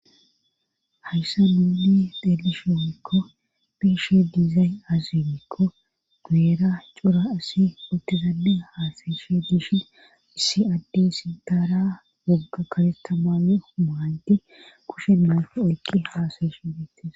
hayssa nuuni delishoomekko piishe dizay azinikko nueera cura asi utizadi haasayeshe dishin issi addey sidaara wogga karetamame maanti kushen maao oyqqi haasayeshe diettes